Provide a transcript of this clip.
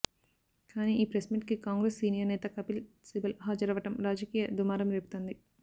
కానీ ఈ ప్రెస్మీట్కి కాంగ్రెస్ సీనియర్ నేత కపిల్ సిబల్ హాజరవ్వడం రాజకీయ దుమారం రేపుతోంది